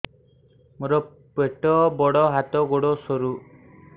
ମୋର ପେଟ ବଡ ହାତ ଗୋଡ ସରୁ